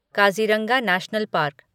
Kaziranga national park